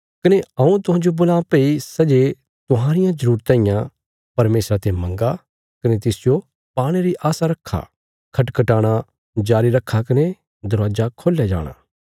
कने हऊँ तुहांजो बोलां भई सै जे तुहांरियां जरूरतां इयां परमेशरा ते मंगा कने तिसजो पाणे री आशा रक्खा खटखटाणा जारी रखा कने दरवाजा खोल्या जाणा